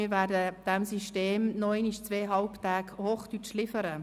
Wir werden diesem System noch einmalzwei Halbtage Hochdeutsch liefern.